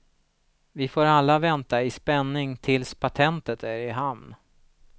Vi får alla vänta i spänning tills patentet är i hamn.